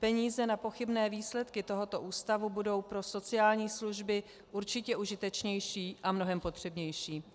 Peníze na pochybné výsledky tohoto ústavu budou pro sociální služby určitě užitečnější a mnohem potřebnější.